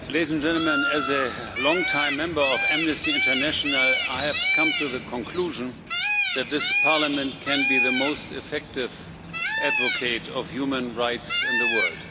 Mr President, as a long time member of Amnesty International I have to come to the conclusion that this Parliament can be the most effective advocate of human rights in the world.